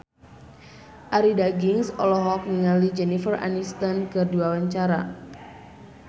Arie Daginks olohok ningali Jennifer Aniston keur diwawancara